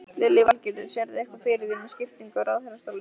Lillý Valgerður: Sérðu eitthvað fyrir þér með skiptingu á ráðherrastólum?